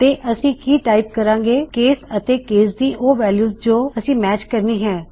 ਤੇ ਅਸੀ ਕੀ ਟਾਇਪ ਕਰਾਂਗੇ - ਕੇਸ ਅਤੇ ਕੇਸ ਦੀ ਉਹ ਵੈਲਯੂ ਜੋ ਅਸੀਂ ਮੈਚ ਕਰਨੀ ਹੈ